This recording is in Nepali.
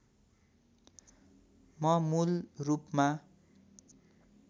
म मूलरूपमा